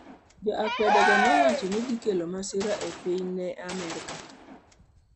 Jo akwedego ne wacho ni ne odhi kelo masira ne piny Amerka.